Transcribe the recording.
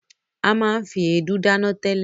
A máa ń fi èédú dáná tẹ́lẹ̀.